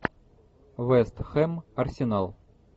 вест хэм арсенал